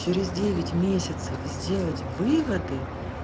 через девять месяцев сделать выводы